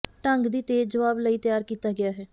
ਢੰਗ ਦੀ ਤੇਜ਼ ਜਵਾਬ ਲਈ ਤਿਆਰ ਕੀਤਾ ਗਿਆ ਹੈ